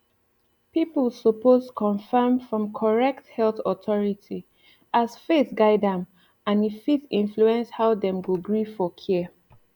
people suppose confirm from correct health authority as faith guide am and e fit influence how dem go gree for care